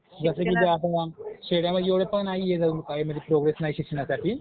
म्हणजे असं की शहरामध्ये एवढं पण नाहीये काय म्हणजे प्रोग्रेस नाहीये शिक्षणासाठी